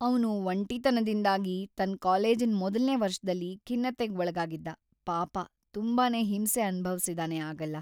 ಅವ್ನು ‌ಒಂಟಿತನದಿಂದಾಗಿ ತನ್ ಕಾಲೇಜಿನ್ ಮೊದಲ್ನೇ ವರ್ಷದಲ್ಲಿ ಖಿನ್ನತೆಗ್ ಒಳಗಾಗಿದ್ದ, ಪಾಪ.. ತುಂಬಾನೇ ಹಿಂಸೆ ಅನ್ಭವ್ಸಿದಾನೆ ಆಗೆಲ್ಲ.